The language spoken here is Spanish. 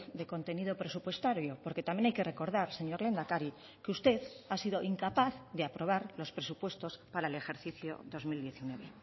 de contenido presupuestario porque también hay que recordar señor lehendakari que usted ha sido incapaz de aprobar los presupuestos para el ejercicio dos mil diecinueve